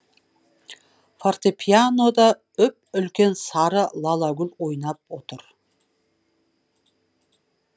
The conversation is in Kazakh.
фортепьянода үп үлкен сары лалагүл ойнап отыр